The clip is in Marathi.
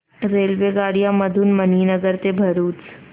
रेल्वेगाड्यां मधून मणीनगर ते भरुच